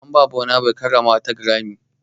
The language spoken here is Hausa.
An ba burns boy karramawa ta Grammy.